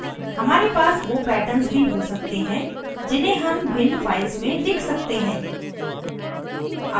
हमारे पास we patterns भी हो सकते हैं जिन्हें हम भिन्न files में लिख सकते हैं